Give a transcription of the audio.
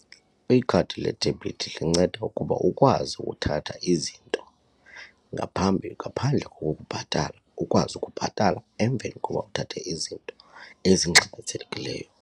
Ikhadi ledebhithi linceda ukuba ukwazi uthatha izinto ngaphambi ngaphandle kokubhatala, ukwazi ukubhatala emveni kokuba uthathe izinto ezingxamisekileyo.